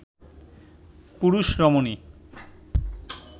পুরুষ রমণী